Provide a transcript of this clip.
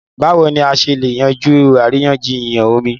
Báwo ni a ṣe lè yanjú àríyànjiyàn omi?